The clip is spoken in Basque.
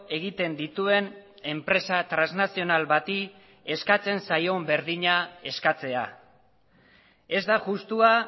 egiten dituen enpresa transnazional bati eskatzen zaion berdina eskatzea ez da justua